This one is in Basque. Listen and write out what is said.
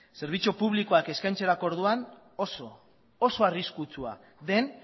zerbitzuen publikoak eskaintzerako orduan oso arriskutsua den